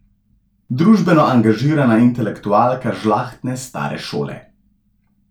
Družbeno angažirana intelektualka žlahtne stare šole.